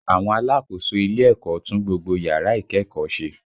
Àwọn alákòóso ilé ẹ̀kọ́ tún gbogbo yàrá ìkẹ́kọ̀ọ́ ṣe